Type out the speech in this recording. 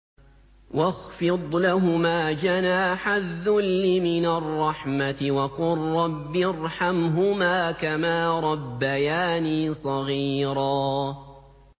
وَاخْفِضْ لَهُمَا جَنَاحَ الذُّلِّ مِنَ الرَّحْمَةِ وَقُل رَّبِّ ارْحَمْهُمَا كَمَا رَبَّيَانِي صَغِيرًا